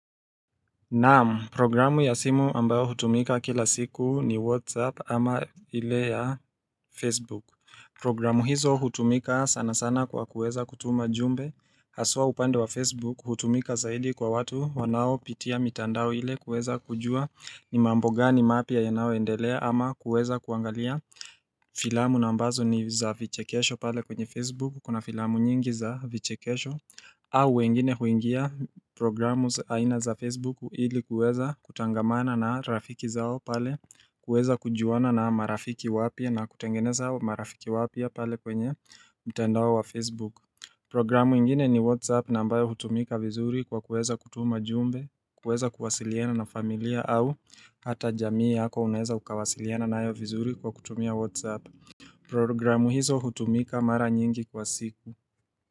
Naam, programu ya simu ambayo hutumika kila siku ni Whatsapp ama ile ya Facebook. Programu hizo hutumika sana sana kwa kuweza kutuma jumbe. Haswa upande wa Facebook hutumika zaidi kwa watu wanao pitia mitandao ile kuweza kujua ni mambogani mapya ya nayo endelea ama kuweza kuangalia. Filamu nambazo ni za vichekesho pale kwenye Facebook Kuna filamu nyingi za vichekesho au wengine huingia programu aina za Facebook Hili kuweza kuchangamana na rafiki zao pale kuweza kujuana na marafiki wapya na kutengeneza hao marafiki wapya pale kwenye mtandao wa Facebook Programu ingine ni WhatsApp ambayo hutumika vizuri kwa kuweza kutuma jumbe kuweza kuwasiliana na familia au Hata jamii yako unaweza ukawasiliana nayo vizuri kwa kutumia Whatsapp Programu hizo hutumika mara nyingi kwa siku.